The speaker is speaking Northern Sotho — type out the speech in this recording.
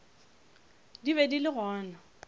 di be di le gona